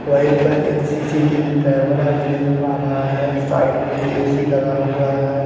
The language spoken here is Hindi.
वहीं पर एक सी_सी_टी_वी कैमरा भी नजर आ रहा है साइड में ए_सी लगा हुआ है।